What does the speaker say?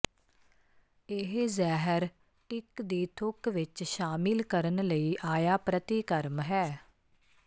ਇਹ ਜ਼ਹਿਰ ਟਿੱਕ ਦੀ ਥੁੱਕ ਵਿੱਚ ਸ਼ਾਮਿਲ ਕਰਨ ਲਈ ਆਇਆ ਪ੍ਰਤੀਕਰਮ ਹੈ